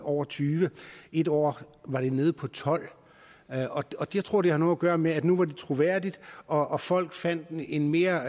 over tyvende et år var det nede på tolvte jeg tror det har noget at gøre med at nu var det troværdigt og at folk fandt en mere